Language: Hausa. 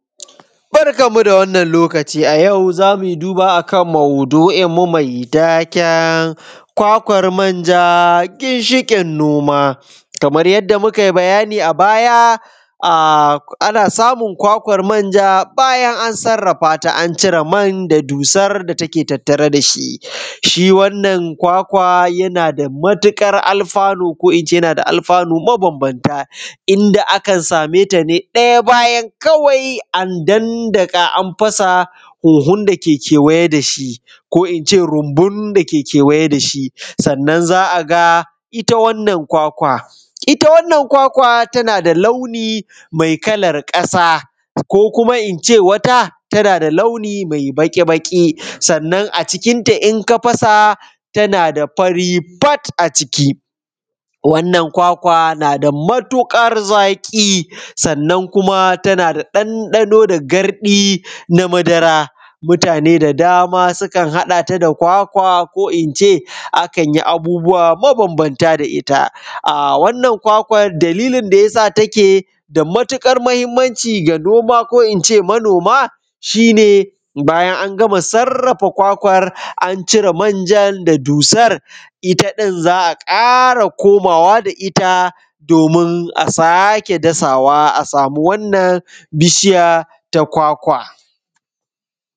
Barkanmu da wannan a yau zamu yi duba a kan maudu’inmu mai taken kwakwan manja ginshin noma. Kamar yadda mu kai bayani a baya, a, ana samun kwakwar manja bayan an sarrafata an cire man da dussar dake tattare dashi. Shi wannan kwakwa yana da matuƙar alfanu ko ince yana da alfanu mabambamta, inda akan sameta ne ɗaya bayan kawai an dandaka, an fasa, hohun dake kewaye dashi, ko ince rumbun dake kewaye dashi. Sannan za a ga ita wannan kwakwa, ita wannan kwakwa tana da launi mai kalar kasa, ko kuma ince wata tana da launi mai baƙi-baƙi, sannan a cikinta in ka fasa tana da fari fat a ciki, wannan kwakwa nada matuƙar zaki, sannan kuma tana da ɗanɗano da gardi na madara, mutane da dama sukan haɗata da kwakwa ko ince a kan yi abubuwa mabambamta da ita. A wannan kwakwan dalilin da yasa take da matuƙar mahimmanci ga noma ko ince manoma shi ne, bayan an gama sarrafa kwakwan an cire manjan da dusar ita din za a ƙara komawa da ita domun a sake dasawa a samu wannan bishi ta kwakwa.